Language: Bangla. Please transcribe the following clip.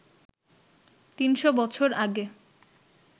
৩০০ বছর আগে